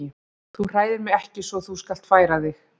Þú hræðir mig ekki svo þú skalt færa þig.